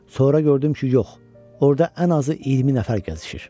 Sonra gördüm ki yox, orada ən azı 20 nəfər gəzişir.